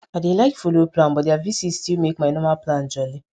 i dey like follow plan but their visit still make my normal plan jolly